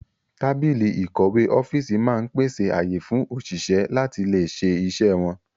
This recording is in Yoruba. Tábìlì ìkọ̀wé ọ́fíìsì máa ń pèsè ààyè fún òṣìṣẹ́ láti lè ṣe iṣẹ́ wọn